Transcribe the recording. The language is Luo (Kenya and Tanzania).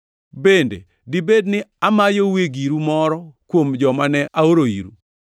Bende dibed ne amayoue giru moro kuom joma ne aoro iru?